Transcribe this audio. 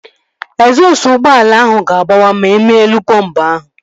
Egzọsụ ụgbọala ahụ ga-agbawa ma ịma elu bọmbu ahụ